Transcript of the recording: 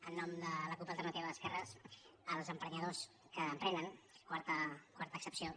en nom de la cup · alternativa d’esquerres els emprenyadors que emprenen quarta accepció